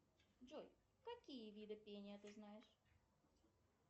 джой какие виды пения ты знаешь